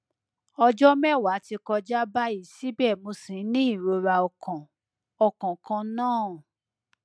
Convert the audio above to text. ọjọ mẹwàá ti kọjá báyìí síbẹ mo ṣì ń ní ìrora ọkàn ọkàn kan náà